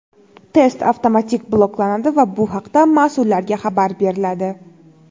test avtomatik bloklanadi va bu haqda mas’ullarga xabar beriladi.